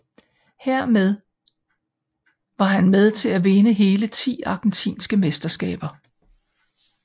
Her var han med til at vinde hele ti argentinske mesterskaber